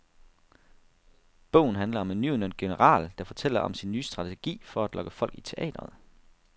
Bogen handler om en nyudnævnt general, der fortæller om sin nye strategi for at lokke folk i teatret.